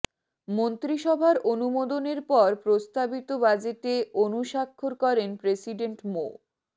মন্ত্রিসভার অনুমোদনের পর প্রস্তাবিত বাজেটে অনুস্বাক্ষর করেন প্রেসিডেন্ট মো